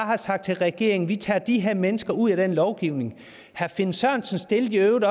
have sagt til regeringen vi tager de her mennesker ud af den lovgivning herre finn sørensen stillede i øvrigt